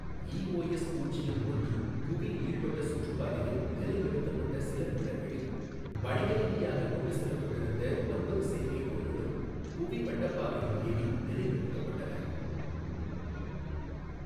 EOS பூஜ்யம் ஒன்று புவி நீள்வட்ட சுற்றுப்பாதையில் நிலைநிறுத்தப்பட்ட சில நிமிடங்களில் வணிகரீதியாக கொண்டு செல்லப்பட்டிருந்த ஒன்பது செயற்கைக் கோள்களும் புவி வட்டப்பாதையில் ஏவி நிலைநிறுத்தப்பட்டன.